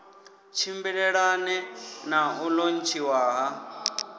tshimbilelane na u lontshiwa ha